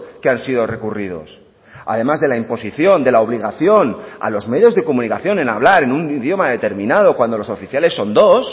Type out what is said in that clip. que han sido recurridos además de la imposición de la obligación a los medios de comunicación en hablar en un idioma determinado cuando los oficiales son dos